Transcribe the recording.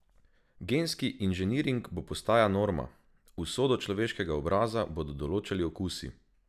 Genski inženiring bo postaja norma: "Usodo človeškega obraza bodo določali okusi.